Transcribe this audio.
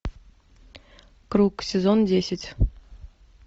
круг сезон десять